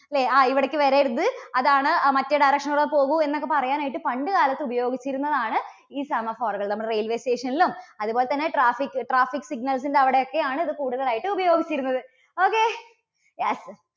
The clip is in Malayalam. അല്ലേ ആ ഇവിടേക്ക് വരരുത്, അതാണ് ആ മറ്റേ direction ലൂടെ പോകൂ എന്നൊക്കെ പറയാൻ ആയിട്ട് പണ്ടുകാലത്ത് ഉപയോഗിച്ചിരുന്നതാണ് ഈ semaphore കൾ. നമ്മുടെ railway station ലും അതുപോലെതന്നെ traffic, traffic signal സിന്റെ അവിടെയൊക്കെ ആണ് ഇത് കൂടുതലായിട്ട് ഉപയോഗിച്ചിരുന്നത്. okay, yes